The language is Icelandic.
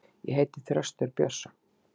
Ég heiti Þröstur Björnsson.